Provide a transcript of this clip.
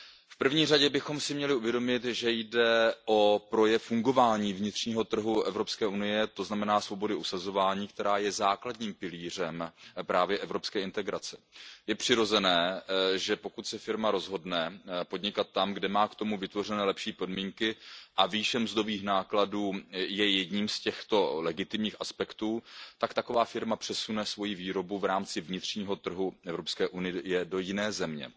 V první řadě bychom si měli uvědomit, že jde o projev fungování vnitřního trhu Evropské unie, to znamená svobody usazování, která je základním pilířem evropské integrace. Je přirozené, že pokud se firma rozhodne podnikat tam, kde má k tomu vytvořené lepší podmínky a výše mzdových nákladů je jedním z těchto legitimních aspektů tak taková firma přesune svoji výrobu v rámci vnitřního trhu Evropské unie do jiné země.